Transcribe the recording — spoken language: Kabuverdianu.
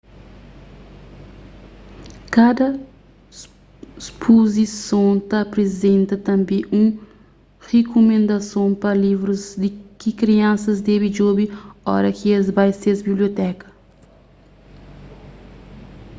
kada spuzison ta aprizenta tanbê un rikumendason pa livrus ki kriansas debe djobe oras ki es bai ses biblioteka